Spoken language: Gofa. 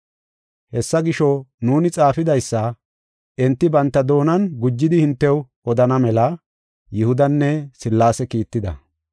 Hessa gisho, nuuni xaafidaysa enti banta doonan gujidi hintew odana mela Yihudanne Sillaase kiitida.